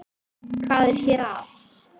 Hvað er hér að?